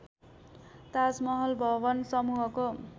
ताजमहल भवन समूहको